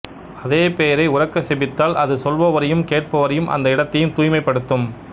அதே பெயரை உரக்க செபித்தால் அது சொல்பவரையும் கேட்பவரையும் அந்த இடத்தையும் தூய்மைப்படுத்தும்